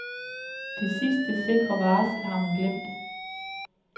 Det sidste sikre varsel har hun glemt.